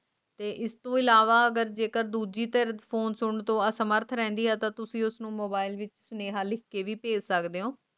ਇਸ ਤੋ ਇਲਾਵਾ ਹਜੇ ਕੱਦੂ ਦੀ ਤਰਫੋਂ ਤੁਰਨ ਤੋਂ ਅਸਮਰਥ ਰਹਿੰਦੀ ਹੈ ਤਾਂ ਤੁਸੀ ਉਸ ਨੂੰ mobile ਵਿਚ ਸਨੇਹਾ ਲਿਖਾ ਕੇ ਵੀ ਭੈਝ ਸਕਦੇ ਊ